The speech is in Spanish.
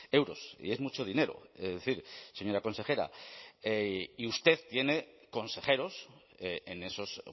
euros y es mucho dinero es decir señora consejera y usted tiene consejeros en esos